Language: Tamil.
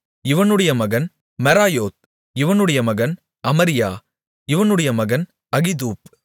இவனுடைய மகன் மெராயோத் இவனுடைய மகன் அமரியா இவனுடைய மகன் அகிதூப்